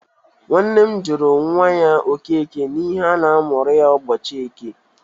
Nwanne m gụrụ nwa ya Okeke n’ihi na a mụrụ ya ụbọchị Eke.